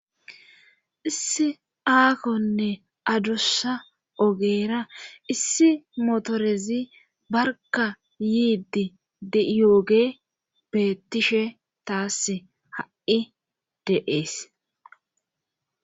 issi aakonne adussa ogeera issi motorezi barka yiiddi di'iyooge bettishe taass ha'i de'ees.